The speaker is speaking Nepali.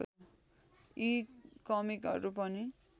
यी कमिकहरू पनि